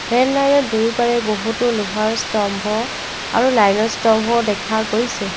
Rail লাইনৰ দুয়োপাৰে বহুতো লোহাৰ স্তম্ভ আৰু লাইনৰ স্তম্ভ দেখা গৈছে।